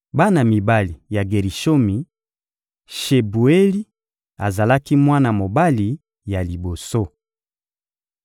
Bana mibali ya Gerishomi: Shebueli azalaki mwana mobali ya liboso.